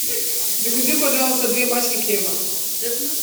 закажи пожалуйста две пачки хлеба